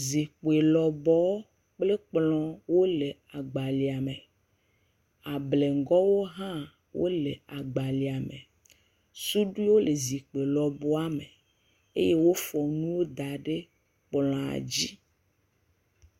Zikpi lɔbɔɔ kple kplɔ̃ wole agbalẽa me. ableŋgɔwo hã wole agbalẽa me. Suɖiwo le zikpi lɔbɔa me eye wofɔ nuwo kɔ ɖe kplɔ̃a dzi.